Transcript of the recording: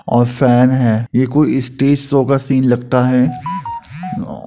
और फैन है। ये कोई स्टेज शो का सीन लगता है। नो --